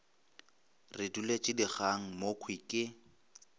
re duletše dikgang mokhwi ke